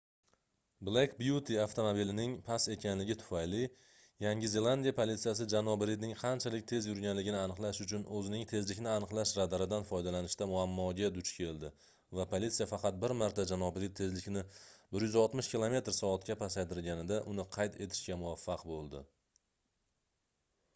"black beauty avtomobilining past ekanligi tufayli yangi zelandiya politsiyasi janob ridning qanchalik tez yurganligini aniqlash uchun o'zining tezlikni aniqlash radaridan foydalanishda muammoga duch keldi va politsiya faqat bir marta janob rid tezlikni 160 km/soatga pasaytirganida uni qayd etishga muvaffaq bo'ldi